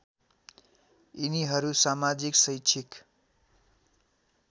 यिनीहरू समाजिक शैक्षिक